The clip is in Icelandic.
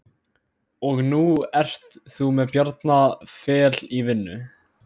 Og nú ert þú með Bjarna Fel í vinnu?